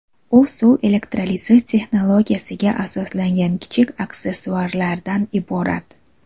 U suv elektrolizi texnologiyasiga asoslangan kichik aksessuarlardan iborat.